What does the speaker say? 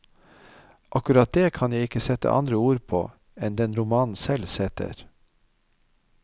Akkurat det, kan ikke jeg sette andre ord på enn den romanen selv setter.